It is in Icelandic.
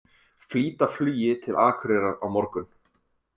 Flýta flugi til Akureyrar á morgun